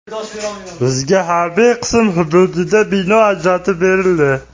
Bizga harbiy qism hududidan bino ajratib berildi.